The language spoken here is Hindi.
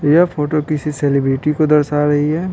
यह फोटो किसी सेलिब्रिटी को दर्शा रही है।